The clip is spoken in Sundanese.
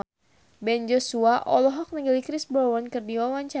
Ben Joshua olohok ningali Chris Brown keur diwawancara